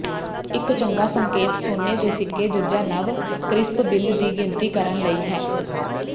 ਇੱਕ ਚੰਗਾ ਸੰਕੇਤ ਸੋਨੇ ਦੇ ਸਿੱਕੇ ਜ ਨਵ ਕਰਿਸਪ ਬਿੱਲ ਦੀ ਗਿਣਤੀ ਕਰਨ ਲਈ ਹੈ